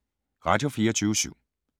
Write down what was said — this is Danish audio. Radio24syv